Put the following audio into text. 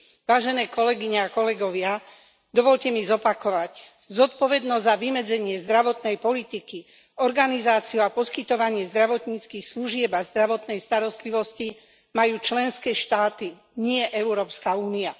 Vážené kolegyne a kolegovia, dovoľte mi zopakovať Zodpovednosť za vymedzenie zdravotnej politiky, organizáciu a poskytovanie zdravotníckych služieb a zdravotnej starostlivosti majú členské štáty, nie Európska únia.